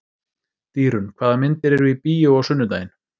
Dýrunn, hvaða myndir eru í bíó á sunnudaginn?